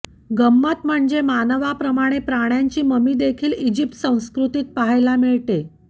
गंमत म्हणजे मानवाप्रमाणेच प्राण्यांची ममीदेखील इजिप्त संस्कृतीत पाहायला मिळते